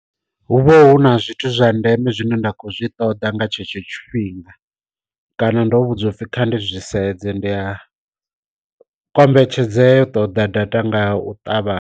Hu vha hu na zwithu zwa ndeme zwine nda kho zwi ṱoda nga tshetsho tshifhinga kana ndo vhudzwa upfhi kha ndi zwi sedze, ndi a kombetshedzea u ṱoḓa data nga u ṱavhanya.